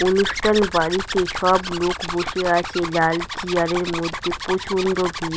অনুষ্ঠান বাড়িতে সব লোক বসে আছে লাল চিয়ার -এর মধ্যে প্রচন্ড ভিড়।